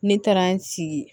Ne taara n sigi